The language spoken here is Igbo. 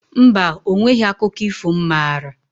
Mba, o nweghi akụkọ ifo m maara